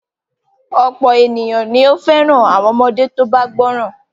Ọ̀pọ̀ ènìyàn ni ó fẹ́ràn àwọn ọmọdé tó bá gbọ́ràn.